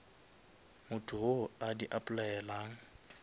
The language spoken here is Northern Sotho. motho wo a di applyelang